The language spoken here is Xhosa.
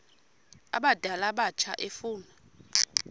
abadala abatsha efuna